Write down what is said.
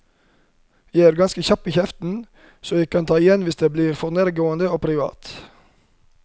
Jeg er ganske kjapp i kjeften, så jeg kan ta igjen hvis det blir for nærgående og privat.